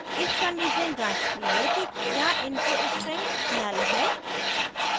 if condition जाँचती है कि the input string null null है